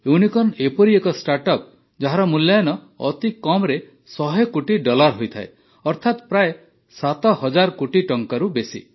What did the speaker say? unicorn ଏପରି ଏକ startup ଯାହାର ମୂଲ୍ୟାୟନ ଅତି କମ୍ରେ ୧୦୦ କୋଟି ଡଲାର ହୋଇଥାଏ ଅର୍ଥାତ ପ୍ରାୟ ୭୦୦୦ କୋଟି ଟଙ୍କାରୁ ବେଶୀ